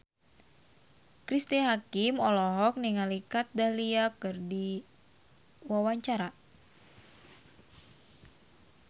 Cristine Hakim olohok ningali Kat Dahlia keur diwawancara